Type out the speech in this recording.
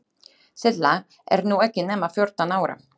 Silla er nú ekki nema fjórtán ára.